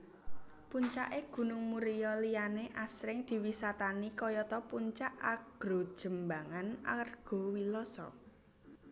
Puncake Gunung Muria liyane asring diwisatani kayata Puncak Argojembangan Argowiloso